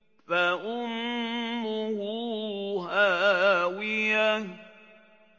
فَأُمُّهُ هَاوِيَةٌ